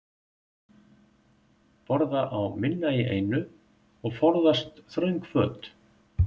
Borða á minna í einu og forðast þröng föt.